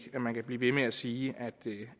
at man kan blive ved med at sige